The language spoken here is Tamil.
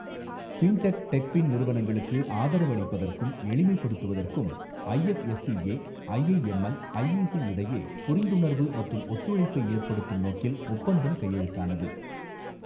ஃபின்டெக், டெக்ஃபின் நிறுவனங்களுக்கு ஆதரவு அளிப்பதற்கும், எளிமைப்படுத்துவதற்கும் ஐஎஃப்எஸ்சிஏ, ஐஐஎம்எல், இஐசி இடையே புரிந்துணர்வு மற்றும் ஒத்துழைப்பை ஏற்படுத்தும் நோக்கில் ஒப்பந்தம் கையெழுத்தானது.